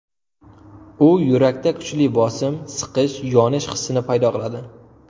U yurakda kuchli bosim, siqish, yonish hissini paydo qiladi.